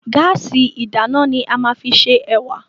Gáàsì ìdáná ni a máa fi se ẹ̀wà.